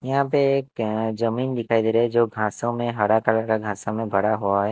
यहां पे एक जमीन दिखाई दे रहा है जो घासों में हरा कलर का घासों में भरा हुआ है।